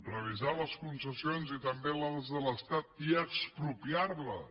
revisar les concessions i també les de l’estat i expropiar les